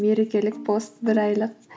мерекелік пост бір айлық